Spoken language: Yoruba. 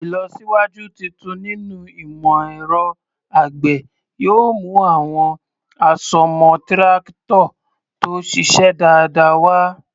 Ìlọsíwájú tuntun nínú ìmọ̀ ẹ̀rọ àgbẹ̀ yóò mú àwọn àsomọ́ Tírákítọ̀ tó ṣiṣẹ́ dáadáa wá.